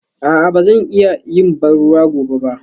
A'a ba zan iya yin ban ruwa gobe ba?